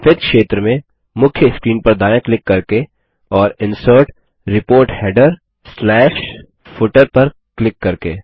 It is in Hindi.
सफेद क्षेत्र में मुख्य स्क्रीन पर दायाँ क्लिक करके और इंसर्ट रिपोर्ट headerफूटर पर क्लिक करके